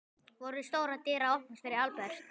Voru stórar dyr að opnast fyrir Albert?